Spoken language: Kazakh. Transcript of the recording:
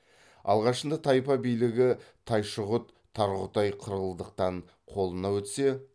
алғашында тайпа билігі тайшығұт тарғұтай қырылдықтан қолына өтсе